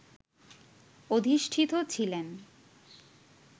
অধিষ্ঠিত ছিলেন